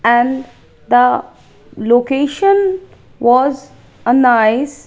and the location was a nice --